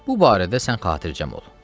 Bu barədə sən xatircəm ol.